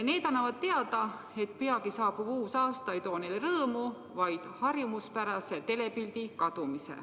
Need annavad teada, et peagi saabuv uus aasta ei too neile rõõmu, vaid harjumuspärase telepildi kadumise.